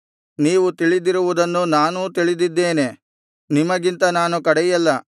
ನೀವು ತಿಳಿದಿರುವುದನ್ನು ನಾನೂ ತಿಳಿದಿದ್ದೇನೆ ನಿಮಗಿಂತ ನಾನು ಕಡೆಯಲ್ಲ